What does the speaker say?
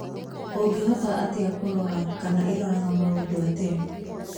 Ũngĩhota atĩa kũrora kana ĩroraga maũndũ atĩa?